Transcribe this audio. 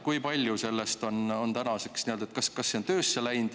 Kas see on töösse läinud?